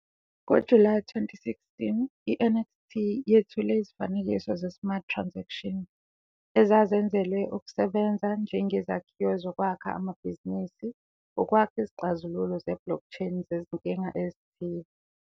NgoJulayi 2016, i-NXT yethule izifanekiso ze-Smart Transaction, ezazenzelwe ukusebenza njengezakhiwo zokwakha amabhizinisi ukwakha izixazululo zeBlockchain zezinkinga ezithile.